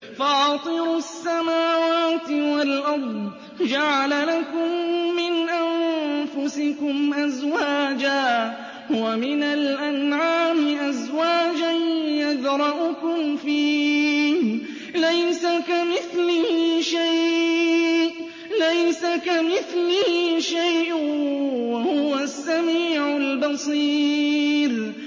فَاطِرُ السَّمَاوَاتِ وَالْأَرْضِ ۚ جَعَلَ لَكُم مِّنْ أَنفُسِكُمْ أَزْوَاجًا وَمِنَ الْأَنْعَامِ أَزْوَاجًا ۖ يَذْرَؤُكُمْ فِيهِ ۚ لَيْسَ كَمِثْلِهِ شَيْءٌ ۖ وَهُوَ السَّمِيعُ الْبَصِيرُ